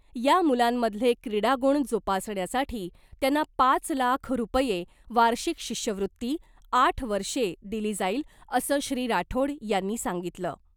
या मुलांमधले क्रीडा गुण जोपासण्यासाठी त्यांना पाच लाख रूपये वार्षिक शिष्यवृत्ती , आठ वर्षे दिली जाईल , असं श्री राठोड यांनी सांगितलं .